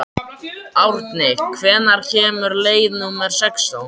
Árni, hvenær kemur leið númer sextán?